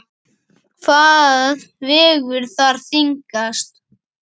Hvað vegur þar þyngst?